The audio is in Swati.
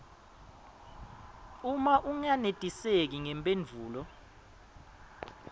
uma ungenetiseki ngemphendvulo